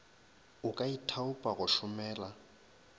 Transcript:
o ka ithaopa go šomela